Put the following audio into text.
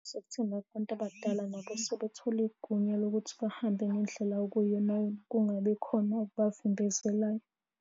Ukuthi nakubantu abadala nabo sebethola igunya lokuthi bahambe ngendlela okuyiyona yona, kungabi khona okubavimbezelayo.